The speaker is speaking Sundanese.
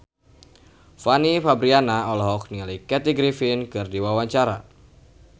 Fanny Fabriana olohok ningali Kathy Griffin keur diwawancara